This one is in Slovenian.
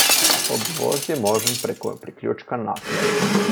Obvoz je možen preko priključka Naklo.